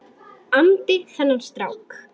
andi þennan strák.